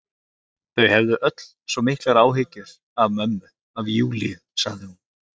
Þau hefðu öll svo miklar áhyggjur af mömmu, af Júlíu, sagði hún.